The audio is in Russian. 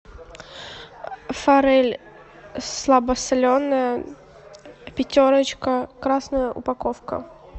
форель слабосоленая пятерочка красная упаковка